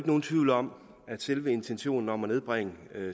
nogen tvivl om at selve intentionen om at nedbringe